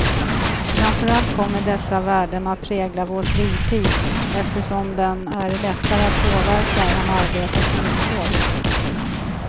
Framför allt kommer dessa värden att prägla vår fritid, eftersom den är lättare att påverka än arbetets villkor.